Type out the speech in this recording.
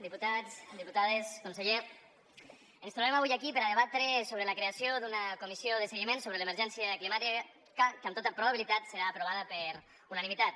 diputats diputades conseller ens trobem avui aquí per a debatre sobre la creació d’una comissió de seguiment sobre l’emergència climàtica que amb tota probabilitat serà aprovada per unanimitat